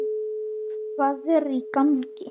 HVAÐ ER Í GANGI??